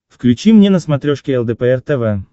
включи мне на смотрешке лдпр тв